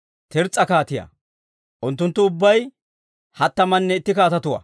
Tirs's'a kaatiyaa. Unttunttu ubbay hattamanne itti kaatetuwaa.